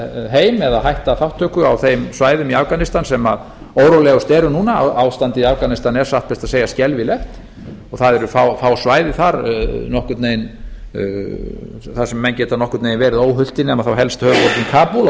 heim eða hætta þátttöku á þeim svæðum í afganistan sem órólegust eru núna ástandið í afganistan er satt best að segja skelfilegt og það eru fá svæði þar þar sem menn geta verið nokkurn veginn óhultir nema þá helst höfuðborgin kabúl og